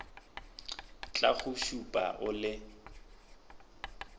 tla go šupa o le